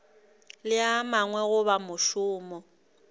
le a mangwe goba mošomo